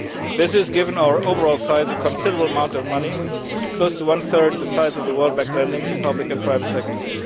This is, given our overall size, a considerable amount of money close to one third the size of World Bank lending to public and private sectors.